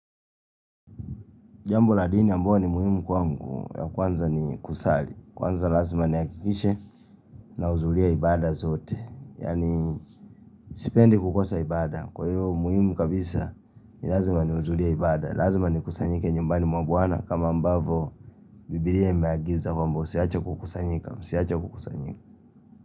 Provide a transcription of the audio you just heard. Jambo la dini ambayo ni muhimu kwangu ya kwanza ni kusali. Kwanza lazima nihakikishe nahudhuria ibada zote. Yaani sipendi kukosa ibada. Kwa hiyo muhimu kabisa ni lazima nihudhuria ibada. Lazima nikusanyike nyumbani mwa bwana kama ambavo bibilia imeagiza kwamba usiache kukusanyika.